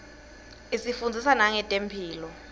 isifundzisa nangetemphilo